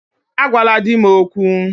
Agwala di m okwu!